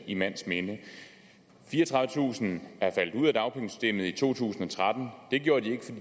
i mands minde fireogtredivetusind er faldet ud af dagpengesystemet i to tusind og tretten og det gjorde